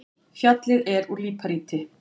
Fjallið er úr líparíti.